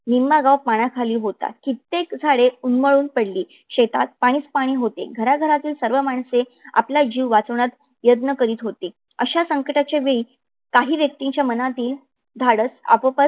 निम्मा गाव पाण्याखाली होता. कित्येक झाडे उन्मळून पडली. शेतात पाणीच पाणी होते. घरा घरातील सर्व माणसे आपला जीव वाचवण्यात प्रयत्न करीत होती. अशा संकटाच्या वेळी काही व्यक्तींच्या मनातील धाडस आपोआपच